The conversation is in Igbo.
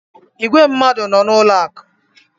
Ìgwè mmadụ nọ n’ụlọ akụ̀.